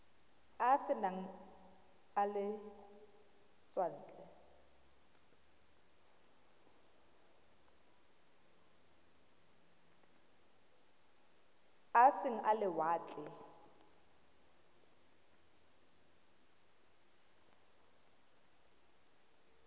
a e seng a lewatle